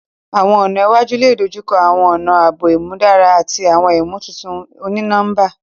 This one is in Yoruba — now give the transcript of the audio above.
Awọn ọna iwaju le dojukọ awọn ọna aabo imudara ati awọn imotuntun oni-nọmba.